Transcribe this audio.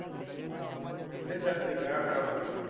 आणि दश असली की अकराला.